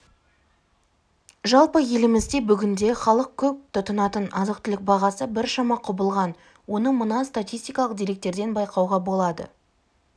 жалпы елімізде бүгінде халық көп тұтынатын азық-түлік бағасы біршама құбылған оны мына статистикалық деректерден байқауға болады